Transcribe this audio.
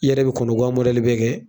I yɛrɛ bi kɔnɔgan bɛɛ kɛ